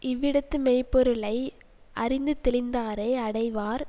இவ்விடத்தே மெய் பொருளை யறிந்துதெளிந்தாரே அடைவார்